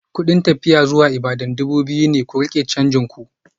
Kudin tafiya Ibadan dubu biyu ne, ku rike canjin ku.